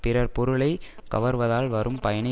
பிறர் பொருளை கவர்வதால் வரும் பயனை